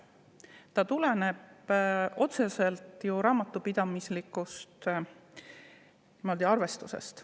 See tuleneb otseselt raamatupidamislikust arvestusest.